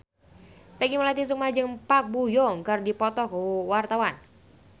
Peggy Melati Sukma jeung Park Bo Yung keur dipoto ku wartawan